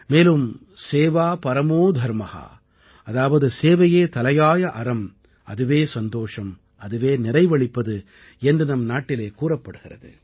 மேலும் सेवापरमोधर्म அதாவது சேவையே தலையாய அறம் அதுவே சந்தோஷம் அதுவே நிறைவளிப்பது என்று நம் நாட்டிலே கூறப்படுகிறது